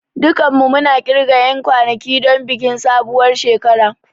Dukanmu muna ƙirga 'yan kwanaki don bikin sabuwar shekara.